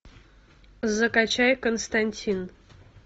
закачай константин